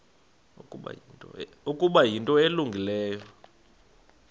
ukuba yinto elungileyo